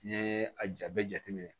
N'i ye a ja bɛɛ jateminɛ